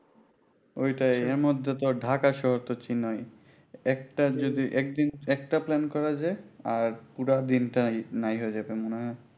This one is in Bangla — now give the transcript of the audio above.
ওইটা মধ্যে তো আর ঢাকা শহর তো চিনই একটা একদিন একটা plan করা যায় আর পুরা দিনটাই নাই হয়ে যাবে মনে হয়